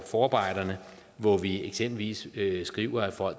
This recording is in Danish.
forarbejderne hvor vi eksempelvis skriver at for